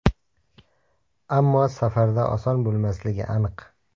Ammo safarda oson bo‘lmasligi aniq.